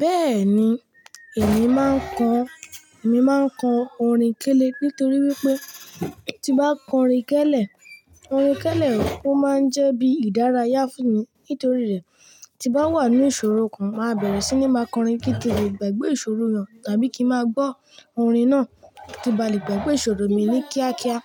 Bẹ́ẹ̀ni, èmi máa ń kọ, èmi máa ń kọ orin kélé nítorí wípé tí bá kọ orin kẹ́lẹ, orin kẹ́lẹ rí, ó máa ń jẹ́ bí ìdárayá fún mi nítorí rẹ̀ tí bá wà ní ìṣòro kan màá bẹ̀rẹ̀ sí ní máa kọrin kí tẹ̀te gbàgbé ìṣòro yẹn tàbí kí màá gbọ́ orin náà kí n bá lè gbàgbé ìṣòro mi ní kíákíá.